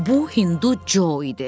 Bu Hindu Jo idi.